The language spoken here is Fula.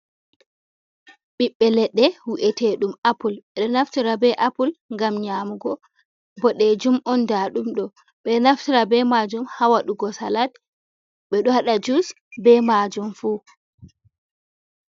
Ɓiɓɓe leɗɗe wi'etedum apul, ɓeɗo naftira be apul ngam nyamugo, boɗejum on nda ɗumɗo ɓe naftira be majum hawaɗugo salat, ɓeɗo waɗa jus be majum fu.